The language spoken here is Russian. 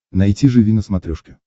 найти живи на смотрешке